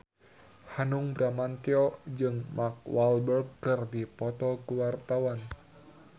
Hanung Bramantyo jeung Mark Walberg keur dipoto ku wartawan